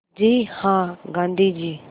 जी हाँ गाँधी जी